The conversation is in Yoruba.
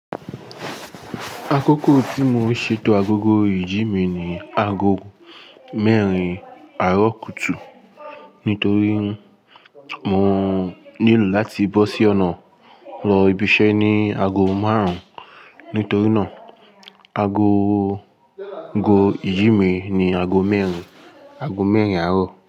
Akókò tí mo ṣètò agogo ìjí mi ni aago mẹ́rin àárọ̀ kùtù nítorí mo nílò láti bọ́ sí ọ̀nà lọ ibi iṣẹ́ ní aago márùn-ún. Nítorí náà, ago ìjí mi ni aago mẹ́rin, aago mẹ́rin àárọ̀.